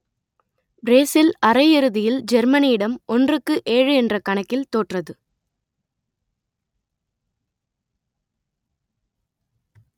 Brazil அரையிறுதியில் ஜெர்மனியிடம் ஒன்றுக்கு ஏழு என்ற கணக்கில் தோற்றது